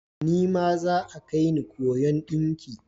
Nima za'a kaini koyon ɗinki.